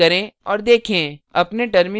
निष्पादित करें और देखें